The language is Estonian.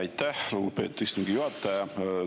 Aitäh, lugupeetud istungi juhataja!